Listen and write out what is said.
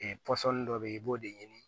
pɔsɔni dɔ bɛ ye i b'o de ɲini